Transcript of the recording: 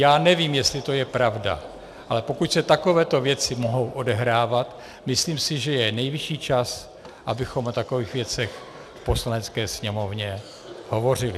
Já nevím, jestli to je pravda, ale pokud se takovéto věci mohou odehrávat, myslím si, že je nejvyšší čas, abychom o takových věcech v Poslanecké sněmovně hovořili.